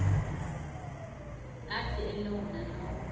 athi elowo nalowo